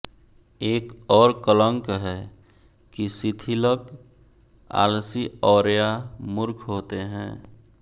एक और कलंक है कि शिथिलक आलसी औरया मूर्ख होते हैं